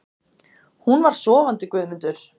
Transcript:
Hún var sofandi Guðmundur.